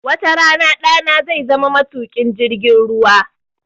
Wata rana ɗana zai zama matuƙin jirgin ruwa